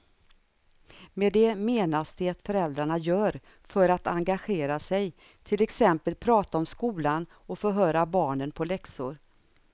Med det menas det föräldrarna gör för att engagera sig, till exempel prata om skolan och förhöra barnen på läxor.